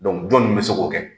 jɔnni bɛ se k'o kɛ?